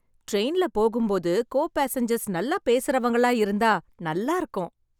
ட்ரெயின்ல போகும்போது co passengers நல்ல பேசறவங்களா இருந்தா நல்லா இருக்கும்